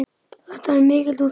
Þetta var mikil útgerð.